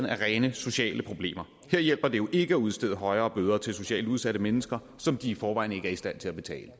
af rent sociale problemer der hjælper det jo ikke at udstede højere bøder til socialt udsatte mennesker som i forvejen ikke er i stand til at betale